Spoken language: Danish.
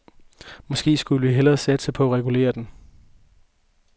Måske skulle vi hellere satse på at regulere den.